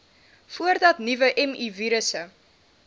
voordat nuwe mivirusse